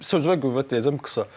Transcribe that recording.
Sözünə qüvvət deyəcəm qısa.